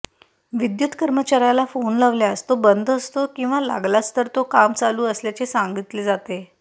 विद्युत कर्मचाऱ्याला फोन लावल्यास तो बंद असतो किंवा लागलाच तर काम चालू असल्याचे सांगितले जाते